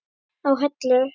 á Hellu.